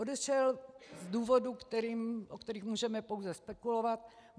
Odešel z důvodů, o kterých můžeme pouze spekulovat.